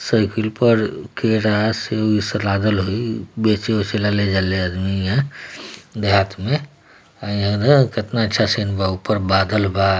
Cycle पर के सस्ते पर लागल है बस्तर ले जा रहे हाथ में कितना अच्छा सिन है ऊपर बदल है ।